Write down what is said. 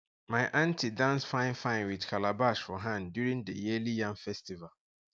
my aunty dance finefine with calabash for hand during the yearly yam festival